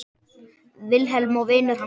Vilhelm og vinur hans Björn.